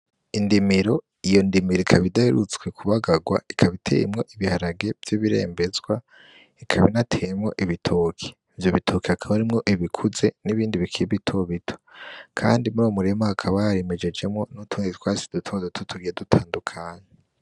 Indimiro, iyo ndimiro ikaba idaherutswe kubagagwa, ikaba iteyemwo ibiharage vy'ibirembezwa, ikaba inateyemwo ibitoke, ivyo bitoke hakaba harimwo ibikuze n'ibindi bikiri bito bito, kandi muri uwo murima hakaba harimejejemwo n'utundi twatsi duto duto tugiye dutandukanye.